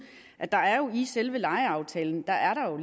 er der jo i selve lejeaftalen